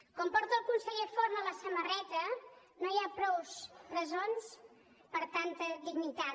com porta el conseller forn a la samarreta no hi ha prou presons per a tanta dignitat